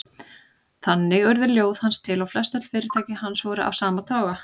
Þannig urðu ljóð hans til og flestöll fyrirtæki hans voru af sama toga.